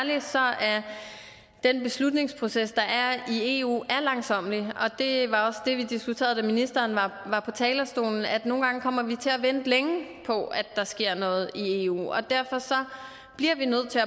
den beslutningsproces der er i eu langsommelig og det var også det vi diskuterede da ministeren var på talerstolen altså at nogle gange kommer vi til at vente længe på at der sker noget i eu og derfor bliver vi nødt til